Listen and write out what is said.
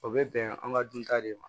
O bɛ bɛn an ka dunta de ma